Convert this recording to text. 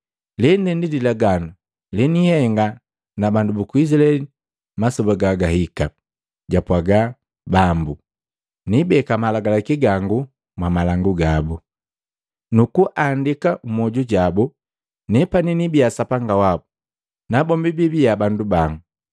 Lende ndi lilaganu leniihenga na bandu buku Izilaeli masoba gagahika, jupwaga Bambu: Niibeka malagalaki gangu mwamalangu gabu, nukuandika mmwoju jabu. Nepani niibiya Sapanga wabu, nabombi biibiya bandu bango.